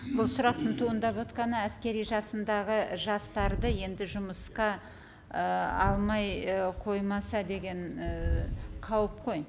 бұл сұрақтың туындап отырғаны әскери жасындағы жастарды енді жұмысқа ы алмай і қоймаса деген ііі қауіп қой